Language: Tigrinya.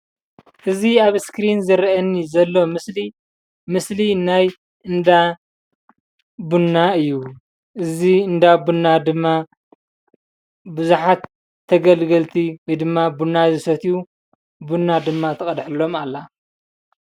እዚ እስክሪን ምስሊ ናይ እንዳ ቡና እዪ። እዚ እንዳ ቡና ብዙሓት ተገልገልቲ ወይ ድማ ቡና ዝሰትዪ ቡና ትቀድሐሎም አላ።